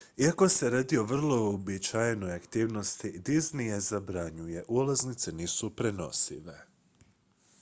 iako se radi o vrlo uobičajenoj aktivnosti disney je zabranjuje ulaznice nisu prenosive